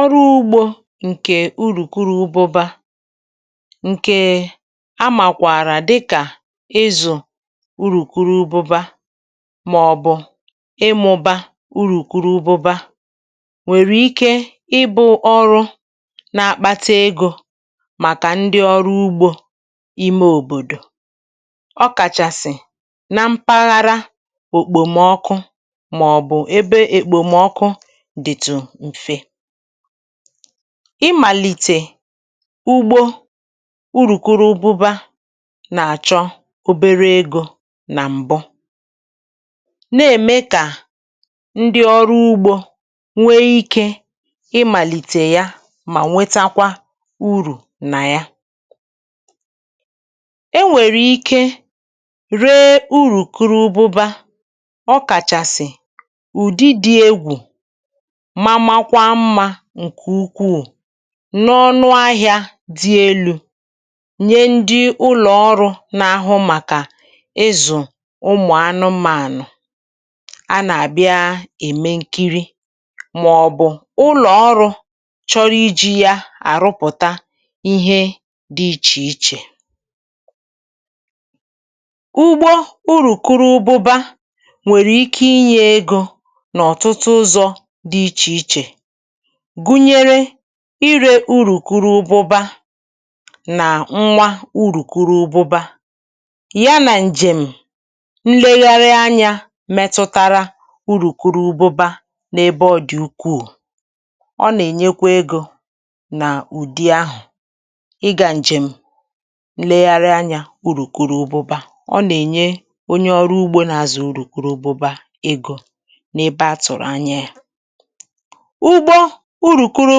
Ọrụ ugbȯ ǹkè urukwụrụ ụbụ̇ba, ǹkèè a màkwàrà dịkà ịzụ̀ urukwụrụ ụbụ̇ba màọ̀bụ̀ ịmụ̇ba urukwụrụ ụbụ̇ba nwèrè ike ịbụ̇ ọrụ na-akpata egȯ màkà ndị ọrụ ugbȯ ime òbòdò, ọ kàchàsị̀ na mpaghara òkpòmọkụ, maọbụ ebe ekpòmọkụ dịtụ mfe. Ịmalitè ugbȯ urùkwuru ụbụba nà-àchọ obere egȯ nà m̀bụ, na-ème kà ndị ọrụ ugbȯ nwee ikė ịmàlìtè ya mà nwetakwa urù nà ya. E nwere ike ree urukwụrụ ụbụ̇ba, okachasi ụdị dị egwu ma makwa mma ṅkè ukwuù, n’ọnụ ahịà dị elu̇ nye ndị ụlọ̀ ọrụ̇ na-ahụ màkà ịzụ̀ ụmụ̀ anụmȧnụ̀ a nà-àbịa ème nkiri, màọbụ̀ ụlọ̀ ọrụ̇ chọrọ iji̇ yȧ àrụpụ̀ta ihe dị ichè ichè. Ugbọ urùkwuru ụbụbȧ nwèrè ike inyė egȯ nà ọ̀tụtụ ụzọ̇ dị̇ ichè ichè, gụnyere ịrė urùkwuru ụbụbȧ nà nwa urùkwuru ụbụbȧ, yanà ǹjèm̀ nlegharị anyȧ metụtara urukwuru ụbụbȧ n’ebe ọ̀ dị̀ ukwuù. Ọ nà-ènyekwa egȯ na ùdi ahụ̀ ịgȧ ǹjèm̀ nlegharị anyȧ ụrùkwuru ụbụbȧ. Ọ nà-ènye onye ọrụ ugbȯ na-azụ ụrùkwuru ụbụbȧ egȯ n’ebe a tụ̀rụ̀ anya yȧ. Ugbo urùkwuru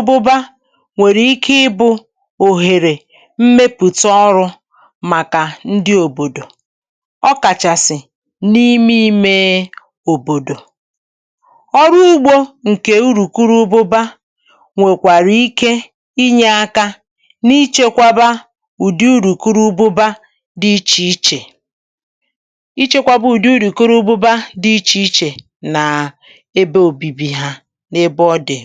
ụbụba nwèrè ike ịbụ̇ òhèrè mmepùta ọrụ̇ màkà ndị òbòdò, ọkàchàsị̀ n’ime imė òbòdò. Ọrụ ugbȯ ǹkè urùkwuru ụbụba nwèkwàrà ike inyė aka n’ichekwaba ụ̀dị urukwuru ụbụba dị ichè ichè, ichekwaba ụ̀dị urukwuru ụbụba dị ichè ichè naa ebe obibi ha n'ebe ọ dị̀.